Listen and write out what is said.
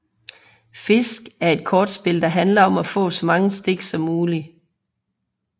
Fisk er et kortspil der handler om at få så mange stik som muligt